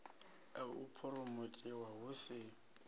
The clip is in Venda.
ya u phuromothiwa hu si